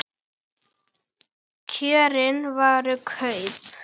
Kjörin voru kröpp.